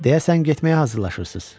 Deyəsən getməyə hazırlaşırsız.